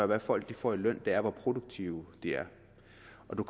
hvad folk får i løn er hvor produktive de er